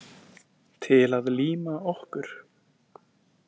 Til að líma okkur.